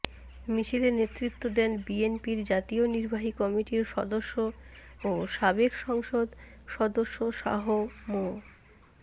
মিছিলে নেতৃত্ব দেন বিএনপির জাতীয় নির্বাহী কমিটির সদস্য ও সাবেক সংসদ সদস্য শাহ মো